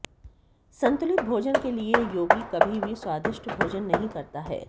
संतुलित भोजन के लिये योगी कभी भी स्वादिष्ट भोजन नहीं करता है